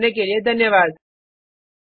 हमसे जुड़ने के लिए धन्यवाद